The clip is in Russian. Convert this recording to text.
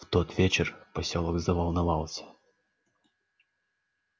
в тот вечер посёлок заволновался